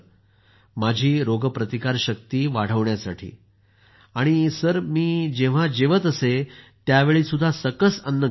माझी रोगप्रतिकारशक्ती वाढावी यासाठी सर मी जेंव्हाही जेवत असे त्यावेळी सकस अन्न घेत असे